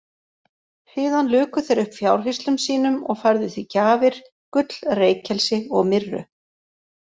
Síðan luku þeir upp fjárhirslum sínum og færðu því gjafir, gull, reykelsi og myrru.